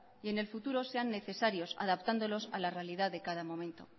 y en el futuro sean necesarios adaptándolos a la realidad de cada momento